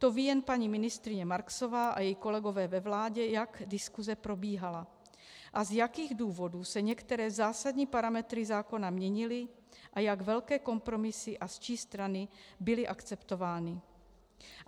To ví jen paní ministryně Marksová a její kolegové ve vládě, jak diskuse probíhala a z jakých důvodů se některé zásadní parametry zákona měnily a jak velké kompromisy a z čí strany byly akceptovány.